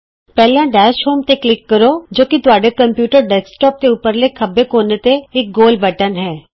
ਪਹਿਲਾਂ dash home ਤੇ click ਕਰੋ ਜੋ ਕਿ ਤੁਹਾਡੇ ਕੰਪਯੂਟਰ ਡੈਸਕਟੋਪ ਦੇ ਉਪਰਲੇ ਖੱਬੇ ਕੋਨੇ ਤੇ ਇਕ ਗੋਲ ਬਟਨ ਹੈ